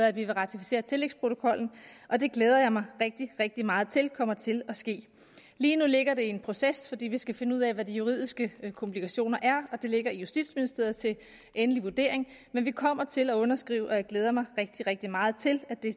at vi vil ratificere tillægsprotokollen og det glæder jeg mig rigtig rigtig meget til kommer til at ske lige nu ligger det i en proces fordi vi skal finde ud af hvad de juridiske komplikationer er og det ligger i justitsministeriet til endelig vurdering men vi kommer til at underskrive og jeg glæder mig rigtig rigtig meget til at det